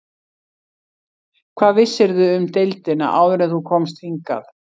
Hvað vissirðu um deildina áður en þú komst hingað?